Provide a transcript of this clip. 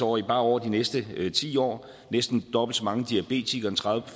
årige bare over de næste ti år næsten dobbelt så mange diabetikere tredive